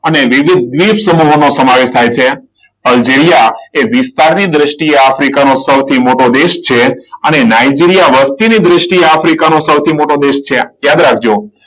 અને વિવિધ દીઠ સમૂહનો સમાવેશ થાય છે. અલજીરીયા એ વિસ્તારની દ્રષ્ટિએ આફ્રિકાનો સૌથી મોટો દેશ છે. અને નાઈજીરીયા વસ્તીની દ્રષ્ટિએ આફ્રિકાનો સૌથી મોટો દેશ છે. યાદ રાખજો.